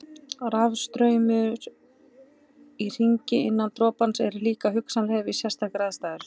Rafstraumar í hringi innan dropans eru líka hugsanlegir við sérstakar aðstæður.